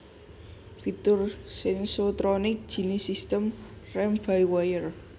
fitur Sensotronic jinis sistem rem by wire